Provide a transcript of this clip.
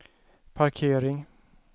parkering